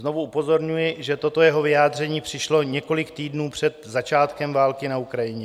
Znovu upozorňuji, že toto jeho vyjádření přišlo několik týdnů před začátkem války na Ukrajině.